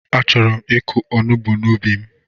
Achọrọ m ịkụ onugbu n'ubi m